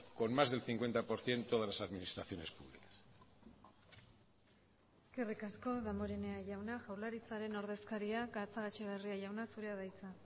con más del cincuenta por ciento de las administraciones públicas eskerrik asko damborenea jauna jaurlaritzaren ordezkaria gatzagaetxebarria zurea da hitza